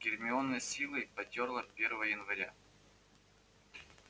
гермиона с силой потёрла первое января